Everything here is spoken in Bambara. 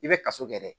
I bɛ kaso kɛ dɛ